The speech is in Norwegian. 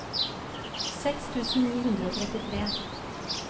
seks tusen ni hundre og trettitre